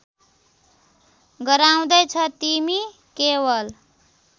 गराउँदैछ तिमी केवल